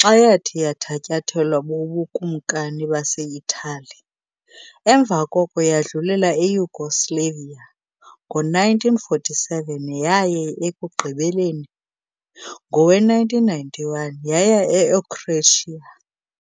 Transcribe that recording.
xa yathi yathatyathelwa buBukumkani baseItali, emva koko yadlulela eYugoslavia ngo-1947 yaye ekugqibeleni, ngowe-1991, yaya eoCroatia .